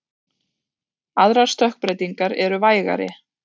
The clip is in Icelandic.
Aðrar stökkbreytingar eru vægari.